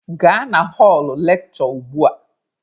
Gaa na họlụ lekshure ugbua!